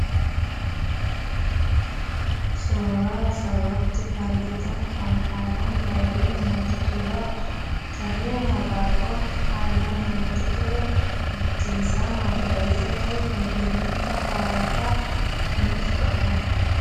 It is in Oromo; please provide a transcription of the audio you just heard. Suuraa asiratti argitan kana haalaan baay'ee namatti tola. Abaaboo haalaan baay'ee namatti tolu ta'ee, biftisaa kan magariisa ta'e kan qilleensa hawwataa nuuf qabudha.